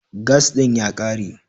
Gas ɗin ya ƙare.